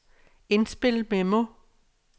indspil memo